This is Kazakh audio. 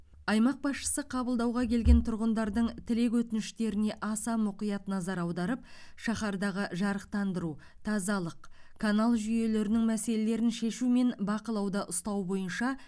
аймақ басшысы қабылдауға келген тұрғындардың тілек өтініштеріне аса мұқият назар аударып шаһардағы жарықтандыру тазалық канал жүйелерінің мәселелерін шешу мен бақылауда ұстау бойынша